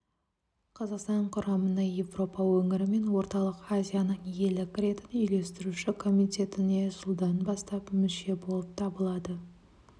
қазақстан құрамына еуропа өңірі мен орталық азияның елі кіретін үйлестіруші комитетіне жылдан бастап мүше болып табылады